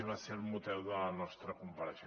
i va ser el motiu de la nostra compareixença